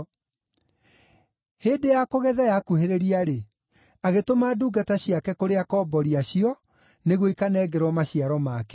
Hĩndĩ ya kũgetha yakuhĩrĩria-rĩ, agĩtũma ndungata ciake kũrĩ akombori acio nĩguo ikanengerwo maciaro make.